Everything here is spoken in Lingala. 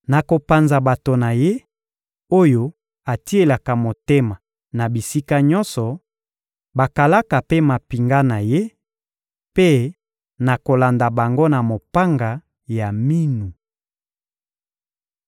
Nakopanza bato na ye, oyo atielaka motema na bisika nyonso: bakalaka mpe mampinga na ye; mpe nakolanda bango na mopanga ya minu.